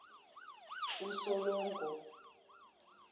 usolongo